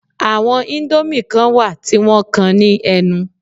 Àwọn indomie kan wà tí wọ́n kan ní ẹnu